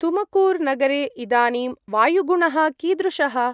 तुमङ्कूर्-नगरे इदानीं वायुगुणः कीदृशः?